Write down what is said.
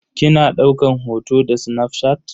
Kina daukan hoto da snafshat?